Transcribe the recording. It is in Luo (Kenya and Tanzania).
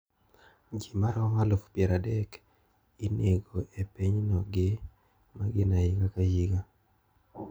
Ji maromo aluf pier adek inego e pinyno gi magina higa ka higa.